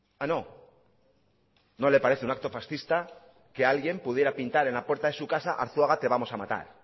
ah no no le parece un acto fascista que alguien pudiera pintar en la puerta de su casa arzuaga te vamos a matar